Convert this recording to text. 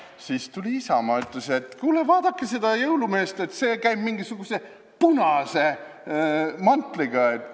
Siis tuli Isamaa ja ütles, et kuulge, vaadake seda jõulumeest: käib mingisuguse punase mantliga!